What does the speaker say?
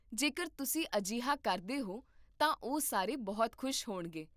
ਜੇਕਰ ਤੁਸੀਂ ਅਜਿਹਾ ਕਰਦੇ ਹੋ ਤਾਂ ਉਹ ਸਾਰੇ ਬਹੁਤ ਖੁਸ਼ ਹੋਣਗੇ